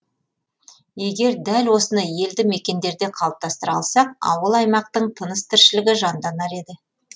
егер дәл осыны елді мекендерде қалыптастыра алсақ ауыл аймақтың тыныс тіршілігі жанданар еді